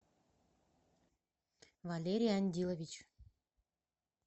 валерий андилович